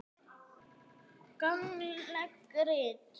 Gagnleg rit